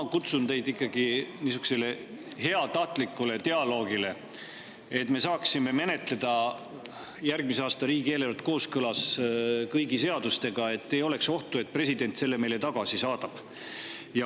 Ma kutsun teid üles ikkagi heatahtlikule dialoogile, et me saaksime menetleda järgmise aasta riigieelarvet kooskõlas kõigi seadustega ja ei oleks ohtu, et president selle meile tagasi saadab.